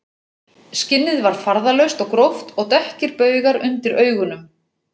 Skinnið var farðalaust og gróft og dökkir baugar undir augunum